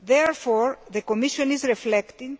Therefore, the Commission is reflecting,